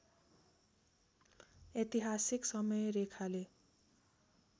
ऐतिहासिक समयरेखाले